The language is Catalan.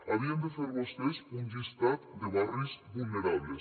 havien de fer vostès un llistat de barris vulnerables